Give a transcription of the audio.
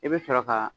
I bɛ sɔrɔ ka